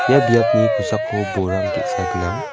ia biapni kosako borang ge·sa gnang.